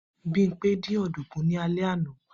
Bimpe dín ọ̀dùnkún ní alẹ́ àná.